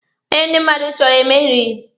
Onye ndi mmadụ chọrọ emerighi.